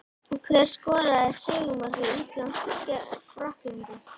Hver skoraði sigurmark Íslands gegn Frakklandi?